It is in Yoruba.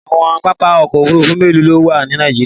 Àwọn pápá òkò òfúrùfú mélò ló wà ní Nàìjíríà?